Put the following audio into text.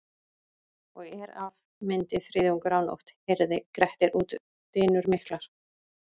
Og er af myndi þriðjungur af nótt heyrði Grettir út dynur miklar.